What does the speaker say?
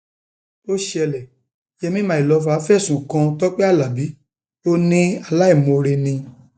ó ṣẹlẹ yèmí mylover fẹsùn kan tọpẹ alábi ò ní aláìmoore ni